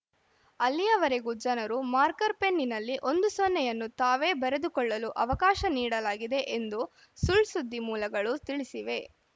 ಅಲ್ಲಿಯವರೆಗೂ ಜನರು ಮಾರ್ಕರ್‌ ಪೆನ್ನಿನಲ್ಲಿ ಒಂದು ಸೊನ್ನೆಯನ್ನು ತಾವೇ ಬರೆದುಕೊಳ್ಳಲು ಅವಕಾಶ ನೀಡಲಾಗಿದೆ ಎಂದು ಸುಳ್‌ ಸುದ್ದಿ ಮೂಲಗಳು ತಿಳಿಸಿವೆ